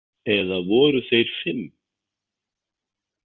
Eða voru þeir fimm?